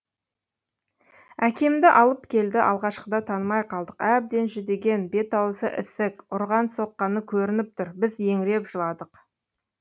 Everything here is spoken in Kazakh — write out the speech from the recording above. әкемді алып келді алғашқыда танымай қалдық әбден жүдеген бет аузы ісік ұрған соққаны көрініп тұр біз еңіреп жыладық